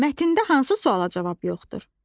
Mətndə hansı suala cavab yoxdur?